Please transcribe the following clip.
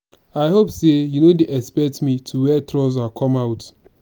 i hope say you no dey expect me to wear trouser come out